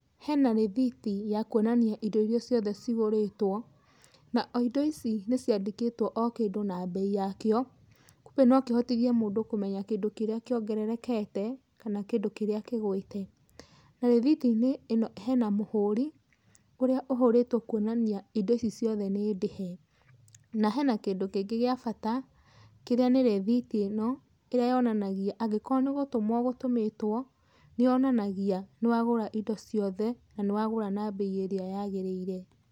Hena rĩthiti ya kuonania indo irĩa ciothe cigũrĩtwo, na o indo ici nĩ ciandĩkĩtwo o kĩndũ na mbei yakĩo, kumbe no kĩhotithie mũndũ kũmenya kĩndũ kĩrĩa kĩongererekete, kana kĩndũ kĩrĩa kĩgũĩte. Na rĩthiti-inĩ hena mũhũri, ũrĩa ũhũrĩtwo kuonania indo ici ciothe nĩ ndĩhe. Na hena kĩndũ kĩngĩ gĩa bata, kĩrĩa nĩ rĩthiti ĩno, ĩrĩa yonanagia angĩkorwo nĩ gũtũmwo ũgũtũmĩtwo, nĩ yonanagia nĩ wagũra indo ciothe, na nĩ wagũra na mbei ĩrĩa yagĩrĩire.